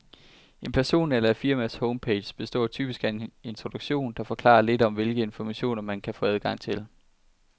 En person eller et firmas homepage består typisk af en introduktion, der forklarer lidt om, hvilke informationer, man kan få adgang til.